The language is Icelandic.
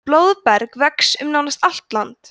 blóðberg vex um nánast allt land